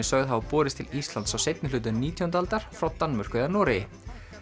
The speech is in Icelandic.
sögð hafa borist til Íslands á seinni hluta nítjándu aldar frá Danmörku eða Noregi